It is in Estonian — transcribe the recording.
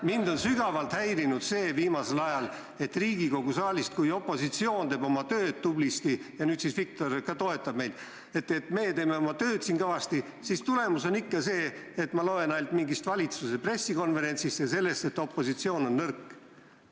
Mind on viimasel ajal sügavalt häirinud, et Riigikogu saalis, kus opositsioon teeb tublisti oma tööd – ja nüüd ka Viktor toetab meid –, on tulemus ikka see, et ma loen ainult mingisugusest valitsuse pressikonverentsist ja sellest, et opositsioon on nõrk.